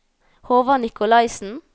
Håvard Nicolaysen